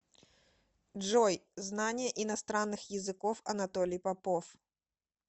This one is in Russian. джой знание иностранных языков анатолий попов